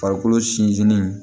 Farikolo sinsinnen